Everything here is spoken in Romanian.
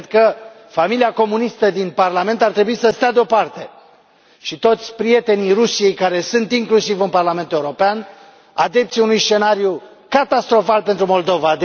Cred că familia comunistă din Parlament ar trebui să stea deoparte, precum și toți prietenii Rusiei care sunt inclusiv în Parlamentul European, adepți ai unui scenariu catastrofal pentru Moldova.